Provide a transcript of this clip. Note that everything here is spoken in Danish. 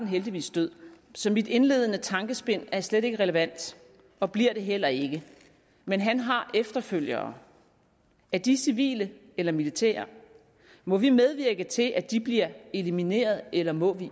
heldigvis død så mit indledende tankespind er slet ikke relevant og bliver det heller ikke men han har efterfølgere er de civile eller militære må vi medvirke til at de bliver elimineret eller må vi